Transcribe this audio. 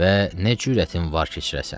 Və nə cürətin var keçirəsən?